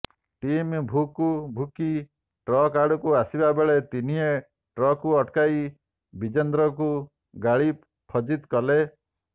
Tommy ଭୁକୁ ଭୁକି truck ଆଡ଼କୁ ଆସିବା ବେଳେ ତିନିହେଁ ଟ୍ରକ୍କୁ ଅଟକାଇ ବିଜେନ୍ଦରକୁ ଗାଳି ଫଜିତ୍ କଲେ